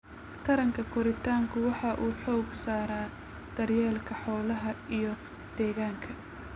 Taranka koritaanku waxa uu xooga saaraa daryeelka xoolaha iyo deegaanka.